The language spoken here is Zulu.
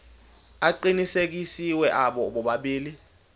aqinisekisiwe abo bobabili